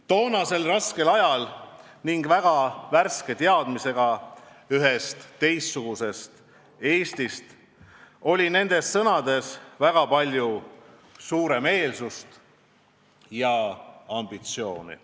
Toonasel raskel ajal, kui teadmised ühest teistsugusest Eestist olid alles värsked, oli nendes sõnades väga palju suuremeelsust ja ambitsiooni.